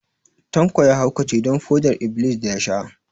Tanko ya haukace don foɗar-iblis da ya sha